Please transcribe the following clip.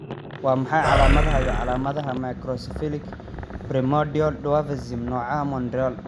Waa maxay calaamadaha iyo calaamadaha Microcephalic primordial dwarfism, nooca Montreal?